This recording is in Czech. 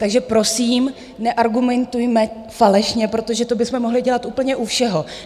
Takže prosím, neargumentujme falešně, protože to bychom mohli dělat úplně u všeho.